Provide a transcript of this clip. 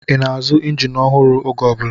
Ị na-azụ injin ọhụrụ oge ọ bụla?